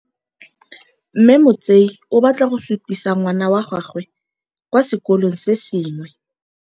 Mme Motsei o batla go sutisa ngwana wa gagwe kwa sekolong se sengwe.